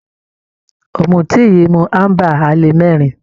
Ọ̀mùtí yìí mu amber ale mẹ́rin.